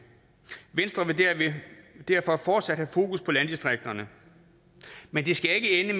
venstre vil derfor fortsat have fokus på landdistrikterne men det skal ikke